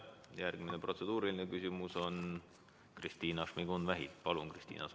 Järgmine protseduuriline küsimus, Kristina Šmigun-Vähi, palun!